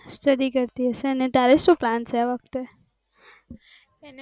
study કરતી હશે ને તારે શું plan છે આ વખતે